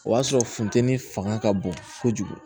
O y'a sɔrɔ funteni fanga ka bon kojugu